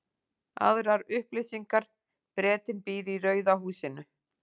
Aðrar upplýsingar: Bretinn býr í rauða húsinu.